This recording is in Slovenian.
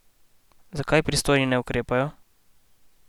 Zakaj pristojni ne ukrepajo?